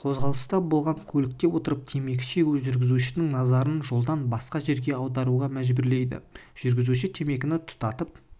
қозғалыста болған көлікте отырып темекі шегу жүргізушінің назарын жолдан басқа жерге аударуға мәжбүрлейді жүргізуші темекіні тұтатып